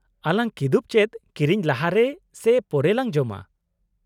- ᱟᱞᱟᱝ ᱠᱤᱫᱩᱵ ᱪᱮᱫ ᱠᱤᱨᱤᱧ ᱞᱟᱦᱟᱨᱮ ᱥᱮ ᱯᱚᱨᱮ ᱞᱟᱝ ᱡᱚᱢᱟ ᱾